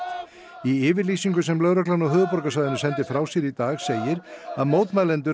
í yfirlýsingu sem lögreglan á höfuðborgarsvæðinu sendi frá sér í dag segir að mótmælendur